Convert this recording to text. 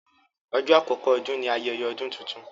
Ọjọ́ àkókò Ọdún ní ayẹyẹ ọdún títún.